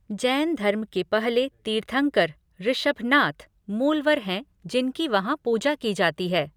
जैन धर्म के पहले तीर्थंकर, ऋषभनाथ, मूलवर हैं जिनकी वहाँ पूजा की जाती है।